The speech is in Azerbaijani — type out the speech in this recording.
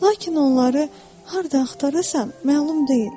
Lakin onları hardan axtarırsan məlum deyil.